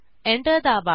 enter दाबा